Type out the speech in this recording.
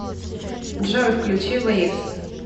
джой включи вэйвс